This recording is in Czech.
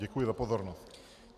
Děkuji za pozornost.